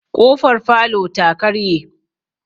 K'ofar falota karye.